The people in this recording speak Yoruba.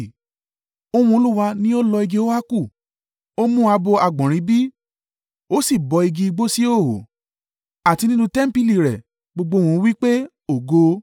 Ohùn Olúwa ní ó lọ igi óákù, ó n mú abo àgbọ̀nrín bí, ó sì bọ́ igi igbó sí ìhòhò. Àti nínú tẹmpili rẹ̀ gbogbo ohùn wí pé, “Ògo!”